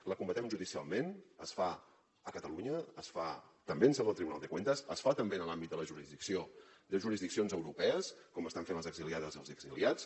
la combatem judicialment es fa a catalunya es fa també en seu del tribunal de cuentas es fa també en l’àmbit de jurisdiccions europees com estan fent les exiliades i els exiliats